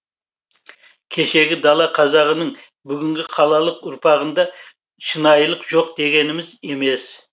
кешегі дала қазағының бүгінгі қалалық ұрпағында шынайылық жоқ дегеніміз емес